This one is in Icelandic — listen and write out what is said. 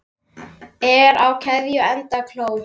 Er á keðju enda kló.